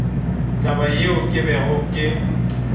taba yeo ke bego ke